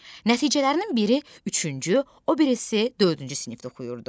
Nəticələrinin biri üçüncü, o birisi dördüncü sinifdə oxuyurdu.